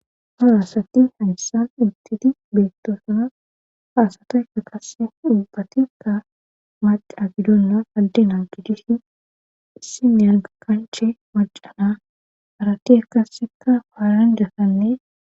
horasatti hansan intiti beettosana faasataekka kase dhubbatikka maca gidonna aldena gidishin issi ney aga kanche macana harati akassekka paaran dasanne